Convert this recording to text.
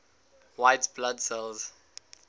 white blood cells